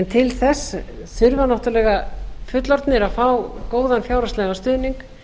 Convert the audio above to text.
til þess þurfa náttúrlega fullorðnir að fá góðan fjárhagslegan stuðning